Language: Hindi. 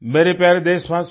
मेरे प्यारे देशवासियो